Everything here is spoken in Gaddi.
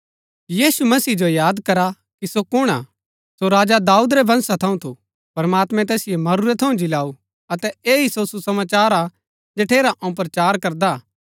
यीशु मसीह जो याद करा कि सो कुण हा सो राजा दाऊद रै वंशा थऊँ थू प्रमात्मैं तैसिओ मरूरै थऊँ जिलाऊ अतै ऐह ही सो सुसमाचार हा जठेरा अऊँ प्रचार करदा हा